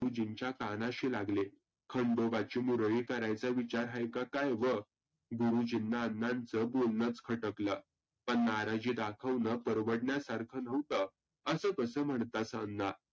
जींच्या काळजाशी लागले. खंडोबांची मुरुळी करायचा विचार हाय का व? गुरुजींना अण्णांचं बोलनच खटकल पण नाराजी दाखवन परवडनार नव्हतं असं कस म्हणता सांगा बर?